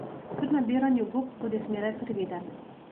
Pri nabiranju gob bodi zmeraj previden.